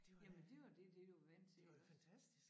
Jamen det var det det du var vant til iggås